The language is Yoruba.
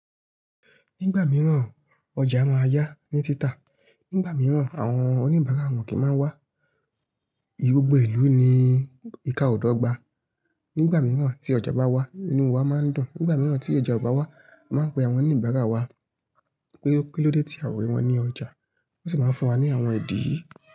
Nígbà mìíràn ọjà máa yá ní títà, nígbà mìíràn àwọn oníbàárà wọ́n kì í má wá. Gbogbo ìlú ni ìka o dọ́gba. Nígbà mìíràn tí ọjà bá wà, inúu wa máa ń dùn. Nígbà mìíràn tí ọjà ò bá wà, mi máa ń pe àwọn oníbàárà wa pé kí ló dé tí a rí wọn ò ní ọjà. Wọ́n sì máa ń fún wa ní àwọn ìdí.